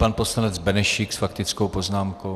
Pan poslanec Benešík s faktickou poznámkou.